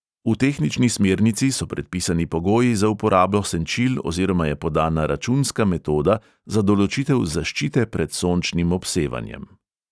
V tehnični smernici so predpisani pogoji za uporabo senčil oziroma je podana računska metoda za določitev zaščite pred sončnim obsevanjem.